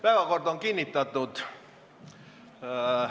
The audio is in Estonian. Päevakord on kinnitatud.